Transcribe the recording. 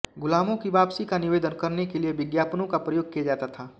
गुलामों की वापसी का निवेदन करने के लिए विज्ञापनों का प्रयोग किया जाता था